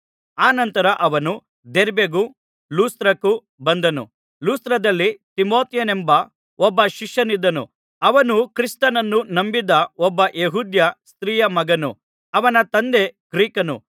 ಅನಂತರ ಅವನು ದೆರ್ಬೆಗೂ ಲುಸ್ತ್ರಕ್ಕೂ ಬಂದನು ಲುಸ್ತ್ರದಲ್ಲಿ ತಿಮೊಥೆಯನೆಂಬ ಒಬ್ಬ ಶಿಷ್ಯನಿದ್ದನು ಅವನು ಕ್ರಿಸ್ತನನ್ನು ನಂಬಿದ್ದ ಒಬ್ಬ ಯೆಹೂದ್ಯ ಸ್ತ್ರೀಯ ಮಗನು ಅವನ ತಂದೆ ಗ್ರೀಕನು